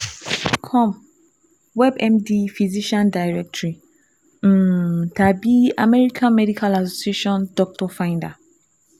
com, WebMD Physician Directory, um tàbí American Medical Association Doctor Finder